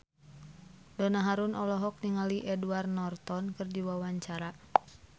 Donna Harun olohok ningali Edward Norton keur diwawancara